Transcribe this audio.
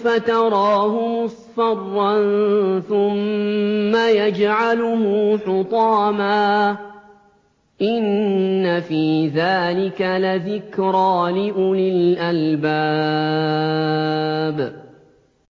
فَتَرَاهُ مُصْفَرًّا ثُمَّ يَجْعَلُهُ حُطَامًا ۚ إِنَّ فِي ذَٰلِكَ لَذِكْرَىٰ لِأُولِي الْأَلْبَابِ